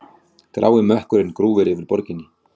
Grái mökkurinn grúfir yfir borginni.